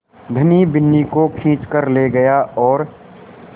धनी बिन्नी को खींच कर ले गया और